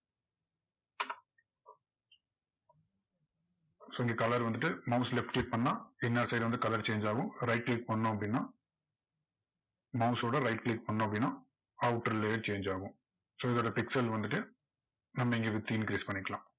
so இங்க colour வந்துட்டு mouse ல left click பண்ணா பின்னாடி side வந்து colour change ஆகும் mouse ல right click பண்ணோம் அப்படின்னா mouse ஓட right click பண்ணோம் அப்படின்னா outer layer change ஆகும் so இதோட pixel வந்துட்டு நம்ம இங்க width increase பண்ணிக்கலாம்